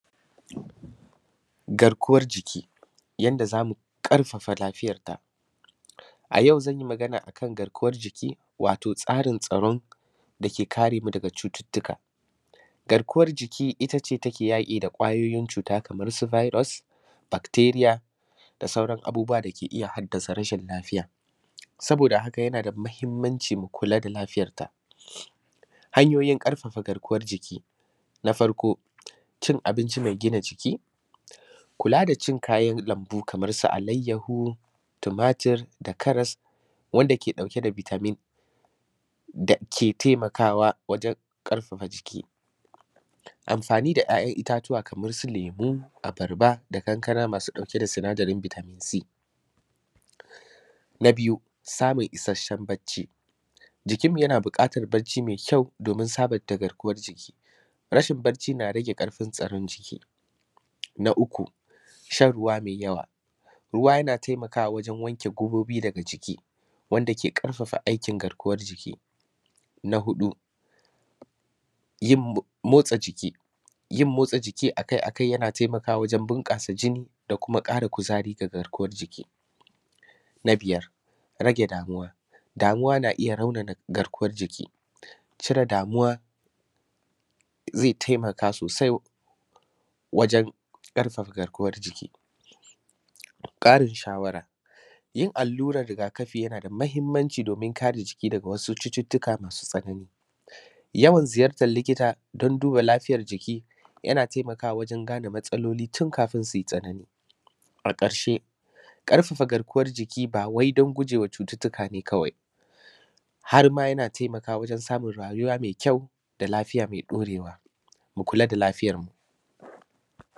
Garkwan jiki ƙarfafa lafiyanta A yau zan yi magana akan garkwan jiki, wato tsarin tsaron da ke karemu daga ciwo. Garkwan jiki itace take yaƙi da ƙwajojin ciwo kamar su virus, baktiriya, da sauran abubuwa dake iya haɗasa rashin lafiya. Saboda haka, yana da mahimanci kula da lafiyar ta. Hanyojin ƙarfafa garkwan jiki na farko: Cin abinci mai gina jiki: Kula da cin ƙayan lanbu kamar su alayahu, tomatir, da karas, wanda ke ɗauke da bitamin dake taimakawa wajen ƙarfafa jiki. Amfani da ƙayan itatuwa kamar su lemu, abarba, kankana, mai ɗauke da sinadarin bitamin C. na biyu Samun isashen baci: Jikinmu yana buƙatan bacci mai kyau domin sabinta garkwan jiki. Rashin baci yana rage ƙarfin tsaron jiki. Na uku Shan ruwa mai yawa: Ruwa yana taimakawa wajen wanke ƙobobi daga jiki, wanda ke ƙarfafa aikin garkwan jiki. Na huɗu Motsa jiki: Yin motsa jiki akai akai yana taimakawa wajen bunƙasa jini, da kuma ƙara kuzari ga garkwan jiki. Na biyar Rage damuwa: Damuwa na iya raunana garkwan jiki. Ƙoƙarin cire damuwa ze taimaka sosai wajen ƙarfafa garkwan jiki. Ƙarin shawara: Yin alluran rigakafi: Yana da mahimanci domin kare jiki daga wasu ciwoki mai tsanani. Ziyarta likita: yawan ziyarta likita domin duba lafiyar jiki yana taimakawa wajen gane matsaloli kafin su tsanani. A ƙarse, ƙarfafa garkwan jiki ba wai domin guje wa ciwoki ne kawai, harma yana taimakawa wajen samun rayuwa mai kyau da lafiya mai ɗaurewa. Mu kula da lafiyar mu.